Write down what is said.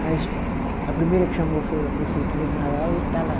Mas a primeira que chamou foi a prefeitura de Mauá e ele está lá.